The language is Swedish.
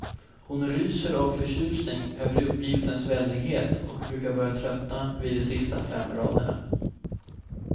Hon ryser av förtjusning över uppgiftens väldighet och brukar börja tröttna vid de sista fem raderna.